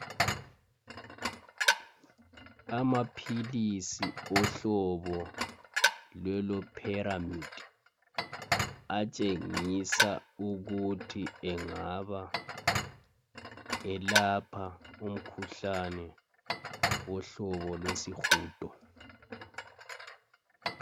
Amaphilisi ohlobo lweloperamide atshengisa ukuthi engaba elapha umkhuhlane wohlobo lwesihudo.